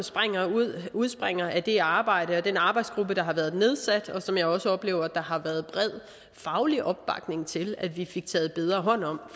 udspringer af det arbejde og den arbejdsgruppe der har været nedsat og som jeg også oplever der har været bred faglig opbakning til altså at vi taget bedre hånd om